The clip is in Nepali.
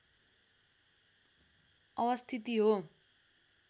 अवस्थिति हो